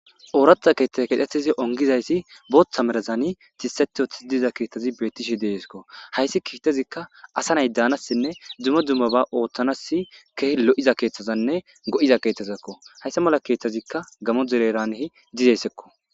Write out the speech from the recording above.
Ooraththa keeththay keexeththizi onggizayssi booththa merazani tisththeththi uththiza keeththazi beeththishe de7eeskko; hayssi keeththazikka asa nay daanassinne dzumma dzummabaa ooththanassi kehi lo7iza keeththazanne go7iza keeththazakko;hayssa mala keeththazikka gamo dere heeraani dizessekko.